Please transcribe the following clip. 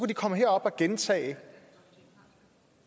de komme herop og gentage